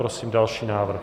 Prosím další návrh.